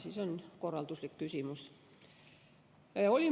See on korralduslik küsimus.